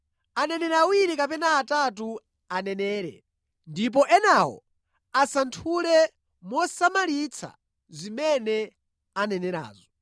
Aneneri awiri kapena atatu anenere, ndipo enawo asanthule mosamalitsa zimene anenerazo.